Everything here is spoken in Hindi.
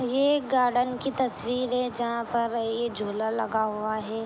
ये गार्डन कि तस्वीर हैजहां पर ये झूला लगा हुआ है।